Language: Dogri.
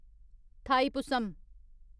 थाईपुसम